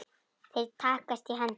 Þeir takast í hendur.